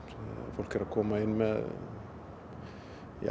fólk er að koma inn með